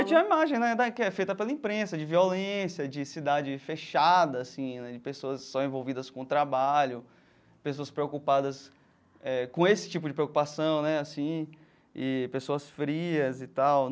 Eu tinha uma imagem, né, da que é feita pela imprensa, de violência, de cidade fechada, assim né, de pessoas só envolvidas com trabalho, pessoas preocupadas eh com esse tipo de preocupação, né, assim, e pessoas frias e tal.